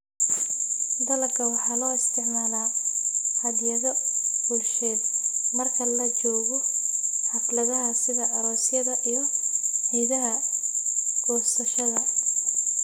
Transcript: Dalagga waxa loo isticmaalaa hadyado bulsheed marka la joogo xafladaha sida aroosyada iyo ciidaha goosashada.